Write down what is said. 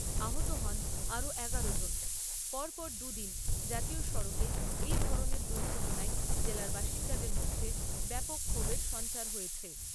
আহত হন আরও এগারো জন পরপর দুদিন, জাতীয় সড়কে, এই ধরনের দুর্ঘটনায় জেলার বাসিন্দাদের মধ্যে ব্যাপক ক্ষোভের সঞ্চার হয়েছে।